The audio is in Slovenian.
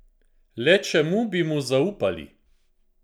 Le čemu bi mu zaupali?